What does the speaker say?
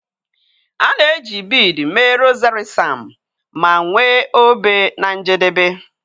A na-eji biidii mee rozari Sam ma nwee obe na njedebe.